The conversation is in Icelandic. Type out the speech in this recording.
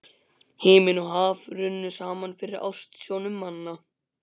Himinn og haf runnu saman fyrir ásjónum manna.